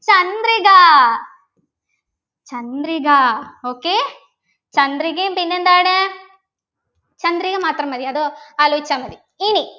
Chandrika Chandrika okay ചന്ദ്രികയും പിന്നെന്താണ് ചന്ദ്രിക മാത്രം മതി അതോ ആലോചിച്ച മതി ഇനി